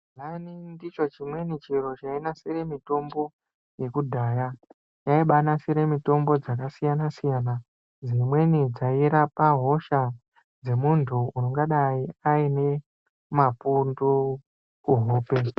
Gehlani ndicho chimwe chimweni chainasira mitombo yekudhaya yaibanasira mitombo yakasiyana siyana dzimweni dzairapa hosha dzemunty ungadai Aine mapundu kuhope.